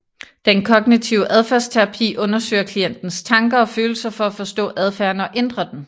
Den kognitive adfærdsterapi undersøger klientens tanker og følelser for at forstå adfærden og ændre den